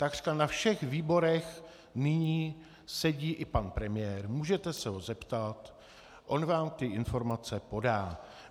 Takřka na všech výborech nyní sedí i pan premiér, můžete se ho zeptat, on vám ty informace podá.